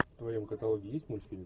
в твоем каталоге есть мультфильм